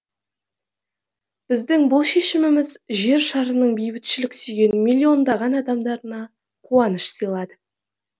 біздің бұл шешіміміз жер шарының бейбітшілік сүйген миллиондаған адамдарына қуаныш сыйлады